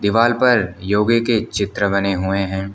दीवाल पर योगे के चित्र बने हुए हैं।